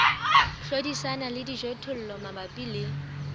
hlodisana le dijothollo mabapi le